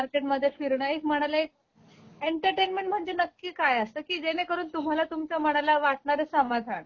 market मध्ये फिरण एक मनाला एक एंटरटेनमेंट म्हणजे नक्की काय असत की जेणेकरून तुम्हाला तुमच्या मनाला वाटणारे समाधान